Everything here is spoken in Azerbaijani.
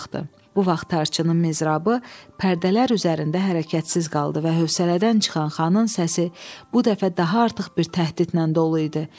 Bu vaxt tarçının mizrabı pərdələr üzərində hərəkətsiz qaldı və hövsələdən çıxan xanın səsi bu dəfə daha artıq bir təhdidlə dolu idi.